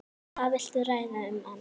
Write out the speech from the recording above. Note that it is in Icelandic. Hvað viltu ræða um annað?